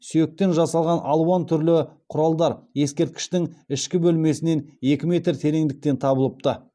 сүйектен жасалған алуан түрлі құралдар ескерткіштің ішкі бөлмесінен екі метр тереңдіктен табылыпты